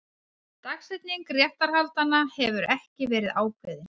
Dagsetning réttarhaldanna hefur ekki verið ákveðin